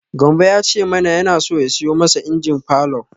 Gambo ya ce mana yana so ya siyo masa injin falor.